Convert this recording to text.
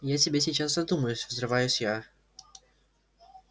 я тебе сейчас задумаюсь взрываюсь я